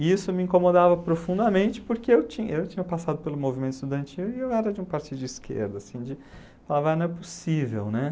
E isso me incomodava profundamente porque eu tinha eu tinha passado pelo movimento estudantil e eu era de um partido de esquerda, assim, de... Falava, não é possível, né?